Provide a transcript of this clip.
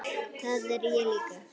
Það er ég líka